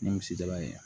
Ni misi daba ye